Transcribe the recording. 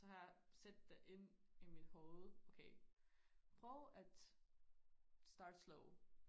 Så har jeg sat det ind i mit hoved okay prøv at start slow